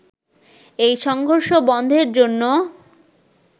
এই সংঘর্ষ বন্ধের জন্য